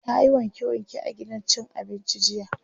tayi wanke wanke a gidan cin abincin jiya.